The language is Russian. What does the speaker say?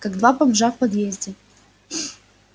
как два бомжа в подъезде